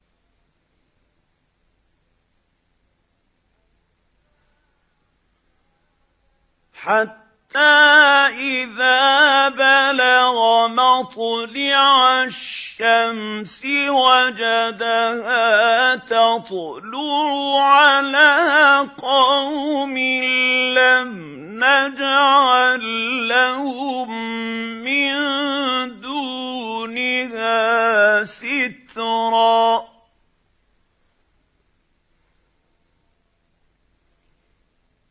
حَتَّىٰ إِذَا بَلَغَ مَطْلِعَ الشَّمْسِ وَجَدَهَا تَطْلُعُ عَلَىٰ قَوْمٍ لَّمْ نَجْعَل لَّهُم مِّن دُونِهَا سِتْرًا